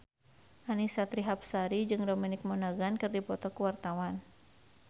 Annisa Trihapsari jeung Dominic Monaghan keur dipoto ku wartawan